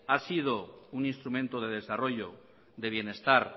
ha sido un instrumento de desarrollo de bienestar